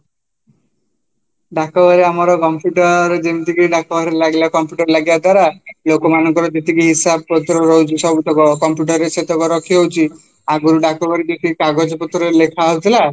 ଡାକଘରେ ଆମର computer ଯେମିତିକି ଡାକଘରେ ଲାଗିଲେ computer ଲାଗିବ ଦ୍ଵାରା ଲୋକମାନଙ୍କର କିଛି ହିସାବ ପତ୍ର ରହୁଛି ସବୁତକ computer ରେ ସେତକ ରଖି ହଉଚି ଆଗରୁ କିଛି ଡାକଘରେ କିଛି କାଗଜ ପତ୍ରରେ ଲେଖା ହଉଥିଲା